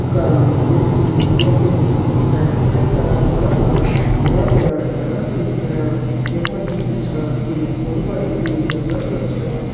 का माध्यम जी यक मजी अमते कई सारा बड़ा बड़ा हरियां भरियां डाला छन दिखेणा। यख मजी जु छा एक बड़ु भारी कु जंगल कर छ।